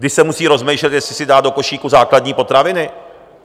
Když se musí rozmýšlet, jestli si dá to košíku základní potraviny?